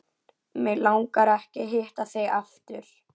Mig langar ekki að hitta þig aftur.